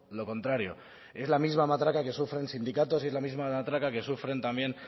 lo contrario es la misma matraca que sufren sindicatos y es la misma de matraca que sufren también